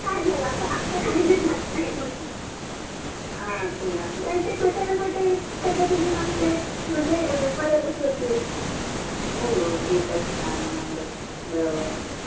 काढन बाबा अस काढल्या जात नाहि हा ते आहे कुठल्या न कुठल्या पद्धतीने मला ते मदत हिते हो हो ते तर आहे मदत होते बरोबर आहे